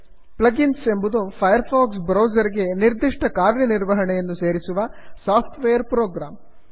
plug ins ಎಂಬುದು Firefox browser ಗೆ ನಿರ್ದಿಷ್ಟ ಕಾರ್ಯನಿರ್ವಹಣೆಯನ್ನು ಸೇರಿಸುವ ಸಾಫ್ಟ್ ವೇರ್ ಪ್ರೋಗ್ರಾಮ್